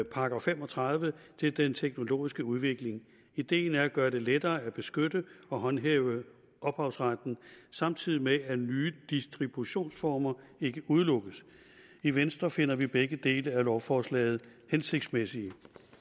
§ fem og tredive til den teknologiske udvikling ideen er at gøre det lettere at beskytte og håndhæve ophavsretten samtidig med at nye distributionsformer ikke udelukkes i venstre finder vi begge dele af lovforslaget hensigtsmæssige